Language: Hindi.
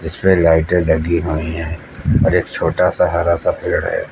जिसपे लाइटें लगी हुई हैं और एक छोटा सा हरा सा पेड़ है।